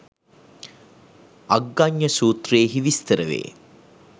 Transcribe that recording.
අග්ගඤ්ඤ සූත්‍රයෙහි විස්තර වේ.